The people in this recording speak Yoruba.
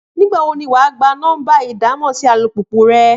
Nígbà wo ni wà á gba nọ́mbà ìdámọ̀ sí alùpùpù rẹ?